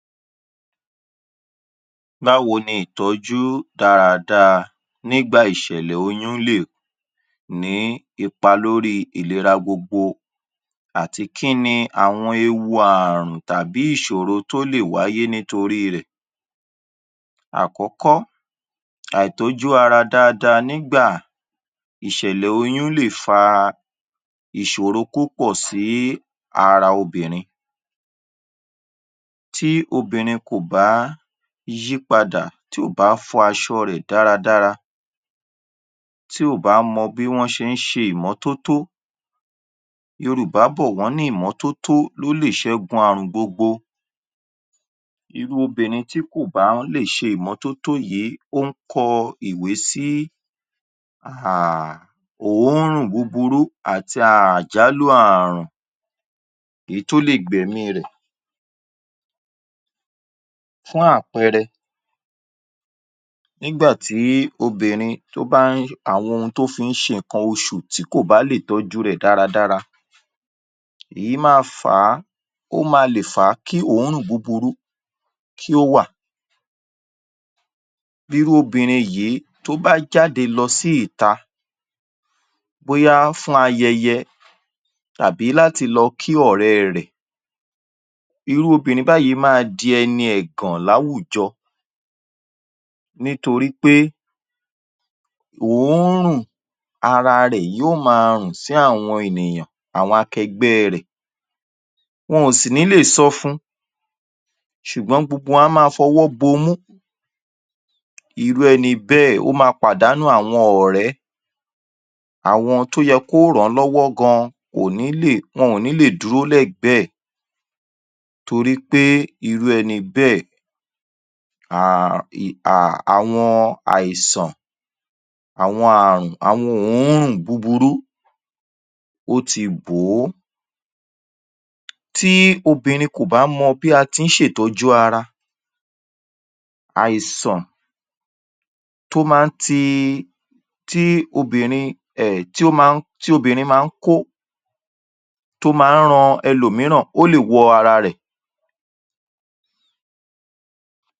Báwo ní ìtójú dáadáa nígbà ìṣẹ̀lẹ̀ oyún lè ní ipa lórí ìlera gbogbo àti kíni àwọn ewu ààrùn tàbí ìṣòro tó lè wáyé nítorí rẹ̀. Àkókó, àìtọ́jú ara dáadáa nígbà ìṣẹ̀lẹ̀ oyún lè fa ìsòro púpọ̀ sí ara obìnrin, tí obínrin kò bá yí padà tí ò bá fọ aṣọ rẹ dáradára tí ò bá mọ bí wọ́n ti ń ṣe ìmọ́tọ́tọ́. Yorùbá bọ̀ wọ́ní ìmọ́tótó ló lè sẹ́gun àrùn gbogbo, irú obìnrin tí kò bá lè ṣe ìmọ́tótó yìí ó ń kọ iwé sí à à à, òórùn búburú àti àjálù ààrùn èyítí ó lè gbẹ̀mí rẹ̀. Fún àpẹẹrẹ, nígbà tí obínrin tó bá ń àwọn tó fi ń ṣe ǹkan oṣù tí kò bá lè tójú rẹ̀ dáradára èyí má a fà á, ó má a lè fà kí òórùn búburú kí ó wà. Irú obìnrin yìí tó bá ń jáde lọ́ sí ìta bóyá fún ayẹyẹ tàbí láti lọ kí ọ̀rẹ́ rẹ̀, irú obìnrin báyìí ma di ẹni ẹ̀gàn láwùjọ nítorí pé òórùn ara rẹ̀ yóó má a rùn sí àwọn ènìyàn, àwọn akẹgbẹ́ rẹ̀, wọn ò sì ní lè sọ fún-un. Sùgbọ́n gbogbo wọn a má a fọwọ́ no imú, irú ẹni bẹ́ẹ̀ ó ma pàdánù àwọn ọ̀rẹ́, àwọn tó yẹ kó ràn an lọ́wọ́ gan wọn ò ní lè, wọn ò ní lè dúró lẹ́gbẹ̀ẹ́ ẹ̀, torípé irú ẹni bẹ́ẹ̀ à ì à àwọn àìsàn àwọn àrùn, àwọn oórùn búburú ó ti bò ó. Tí obínrin kò bá mọ bí a ṣe ń ṣe ìtọ́jú ara, àìsàn tó ma ń tì, tí obínrin ẹ̀ tí obínrin tó ma ń kó, tó ma ń ran ẹlòmíràn ó lè wọ ara rẹ̀.